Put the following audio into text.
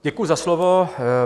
Děkuji za slovo.